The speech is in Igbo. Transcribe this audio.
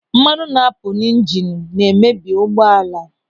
Mmanụ na-apụ n'ịjịịnu na-emebi ụgbọala.